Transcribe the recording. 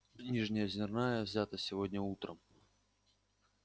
нижнеозерная взята сегодня утром